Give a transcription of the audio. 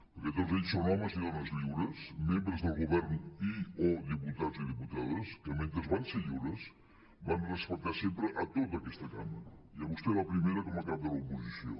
perquè tots ells són homes i dones lliures membres del govern i o diputats i diputades que mentre van ser lliures van respectar sempre a tota aquesta cambra i a vostè la primera com a cap de l’oposició